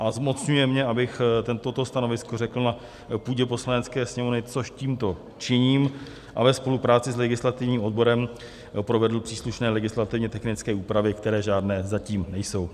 V. zmocňuje mě, abych toto stanovisko řekl na půdě Poslanecké sněmovny, což tímto činím, a ve spolupráci s legislativním odborem provedl příslušné legislativně technické úpravy, které žádné zatím nejsou.